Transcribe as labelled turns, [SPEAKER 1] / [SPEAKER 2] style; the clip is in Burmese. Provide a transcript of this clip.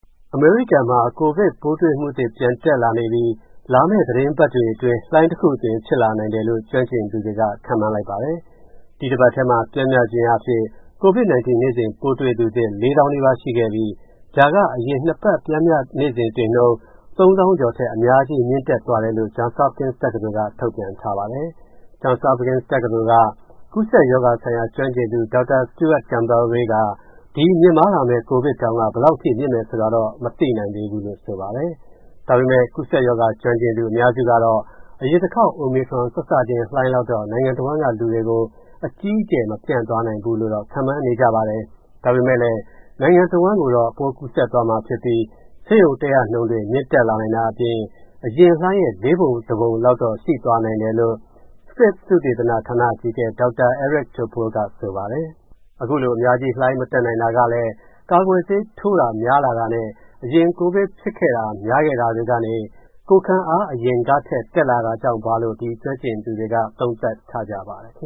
[SPEAKER 1] အမေရိကန်မှာ ကိုဗစ်ပိုးတွေ့မှုသစ် ပြန်တက်လာနေပြီး လာမယ့်သီတင်းပတ်တွေအတွင်း လှိုင်းတခုဖြစ်လာနိုင်တယ်လို့ ကျွမ်းကျင်သူတွေက ခန့်မှန်းလိုက်ပါတယ်။ ဒီအပတ်ထဲမှာ ပျမ်းမျှခြင်းအားဖြင့် နေ့စဉ်ပိုးတွေ့သူသစ် ၄၀,၀၀၀ နီးပါးရှိခဲ့ပြီး ဒါက အရင်နှစ်ပတ် ပျမ်းမျှ နေ့စဉ်တွေ့နှုန်း ၃၀,၀၀၀ ကျော်ထက် အများကြီး မြင့်တက်သွားတယ်လို့ Johns Hopkins တက္ကသိုလ်က ထုတ်ပြန်ထားပါတယ်။ John Hopkins တက္ကသိုလ်က ကူးစက်ရောဂါဆိုင်ရာ ကျွမ်းကျင်သူ Dr. Stuart Campbell Ray က ဒီ မြင့်မားလာမယ့် ကိုဗစ်တောင်က ဘယ်လောက်အထိ မြင့်မယ်ဆိုတာတော့ မသိနိုင်သေးဘူးလို့ ဆိုပါတယ်။ ဒါပေမဲ့ ကူးစက်ရောဂါကျွမ်းကျင်သူ အများစုကတော့ အရင်တခေါက် Omicron စစချင်း လှိုင်းလောက်တော့ နိုင်ငံတဝန်းက လူတွေကို အကြီးအကျယ် မပျံ့သွားနိုင်ဘူးလို့တော့ ခန့်မှန်းနေကြပါတယ်။ ဒါပေမဲ့လည်း နိုင်ငံတဝန်းကိုတော့ ပိုးကူးစက်သွားမှာဖြစ်ပြီး ဆေးရုံတက်ရနှုန်းတွေ မြင့်တက်လာနိုင်တာအပြင် အရင်လှိုင်းရဲ့ လေးပုံတပုံလောက်တော့ ရှိသွားနိုင်တယ်လို့ Scripps သုတေသနဌာန အကြီးအကဲ Dr. Eric Topol က ဆိုပါတယ်။ အခုလို အများကြီး လှိုင်းမတက်နိုင်တာကလည်း ကာကွယ်ဆေးထိုးတာ များလာတာနဲ့ အရင် ကိုဗစ်ဖြစ်ခဲ့တာ များခဲ့တာတွေကနေ ကိုယ်ခံအား အရင်ကထက် တက်လာတာကြောင့်ပါလို့ ဒီကျွမ်းကျင်သူတွေက သုံးသပ်ထားကြပါတယ်